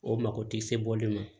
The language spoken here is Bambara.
O mako ti se bɔli ma